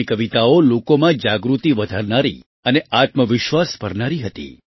તેમની કવિતાઓ લોકોમાં જાગૃતિ વધારનારી અને આત્મવિશ્વાસ ભરનારી હતી